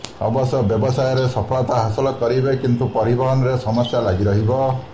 ଅବଶ୍ୟ ବ୍ୟବସାୟରେ ସଫଳତା ହାସଲ କରିବେ କିନ୍ତୁ ପରିବହନରେ ସମସ୍ୟା ଲାଗି ରହିବ